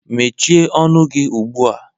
Mechie ọnụ gị ugbua!